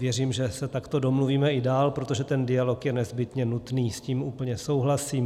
Věřím, že se takto domluvíme i dál, protože ten dialog je nezbytně nutný, s tím úplně souhlasím.